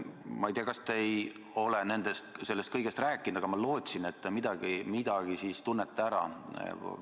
Ma ei tea, kas te ei ole sellest kõigest rääkinud, aga ma lootsin, et te midagi tunnete ära.